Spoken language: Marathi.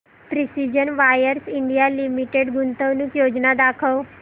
प्रिसीजन वायर्स इंडिया लिमिटेड गुंतवणूक योजना दाखव